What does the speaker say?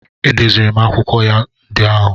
Edeziri m akwụkwọ ya ndị ahụ.